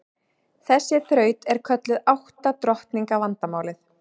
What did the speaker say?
Þessi þraut er kölluð átta drottninga vandamálið.